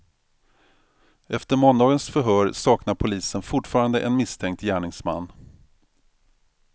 Efter måndagens förhör saknar polisen fortfarande en misstänkt gärningsman.